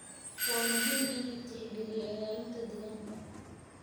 waa muhiim in la tixgeliyo ilaalinta deegaanka.